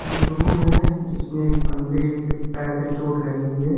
एक रूम है जिसमें एक बंदे के पैर में चोट लगी हुई है।